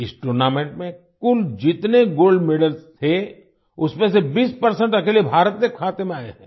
इस टूर्नामेंट में कुल जितने गोल्ड मेडल्स थे उसमें से 20 अकेले भारत के खाते में आए हैं